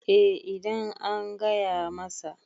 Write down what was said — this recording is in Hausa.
eh idan an gaya masa